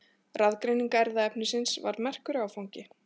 Raðgreining erfðaefnisins var merkur áfangi.